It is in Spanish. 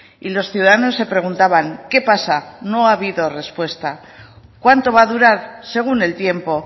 y los ciudadanos se preguntaban qué pasa no ha habido respuesta cuánto va a durar según el tiempo